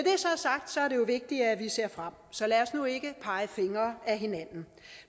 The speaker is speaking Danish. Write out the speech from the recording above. jo vigtigt at vi ser frem så lad os nu ikke pege fingre ad hinanden